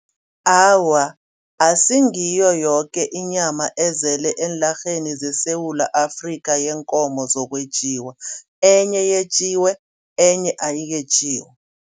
Awa akusingiyo yoke inyama ezele enarheni yeSewula Afrika yeenkomo zokwetjiwa. Enye yetjiwe, enye ayiketjewa.